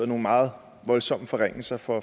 nogle meget voldsomme forringelser for